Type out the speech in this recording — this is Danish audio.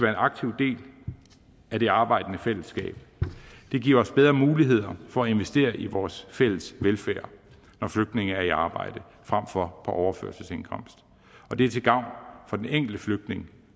aktiv del af det arbejdende fællesskab det giver os bedre muligheder for at investere i vores fælles velfærd når flygtninge er i arbejde frem for på overførselsindkomst og det er til gavn for den enkelte flygtning